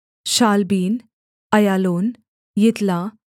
Shaalabbin Aijalon Ithlah